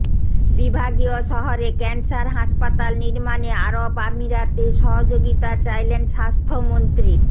বিভাগীয় শহরে ক্যান্সার হাসপাতাল নির্মাণে আরব আমিরাতের সহযোগিতা চাইলেন স্বাস্থ্যমন্ত্রী